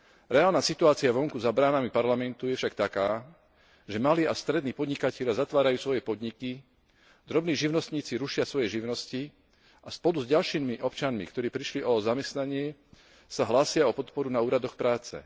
Reálna situácia vonku, za bránami Parlamentu, je však taká, že malí a strední podnikatelia zatvárajú svoje podniky, drobní živnostníci rušia svoje živnosti a spolu s ďalšími občanmi, ktorí prišli o zamestnanie, sa hlásia o podporu na úradoch práce.